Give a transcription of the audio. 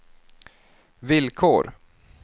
villkor